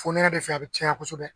Fonɛnɛ de fɛ a bɛ caya kosɛbɛ